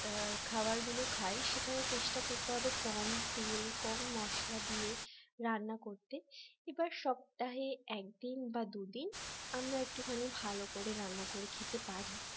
খাবারগুলো খাই সেখানে চেষ্টা করতে হবে কম তেল কম মসলা দিয়ে রান্না করতে এবার সপ্তাহে একদিন বা দুদিন আমরা একটুখানি ভালো করে রান্না করে খেতে পারি